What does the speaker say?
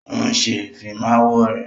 Ó ń ṣe Ìfimáwo rẹ̀